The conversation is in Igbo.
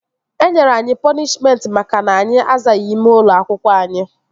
Enyere anyị pọnishmentị maka na anyị azaghị ime ụlọ akwụkwọ anyị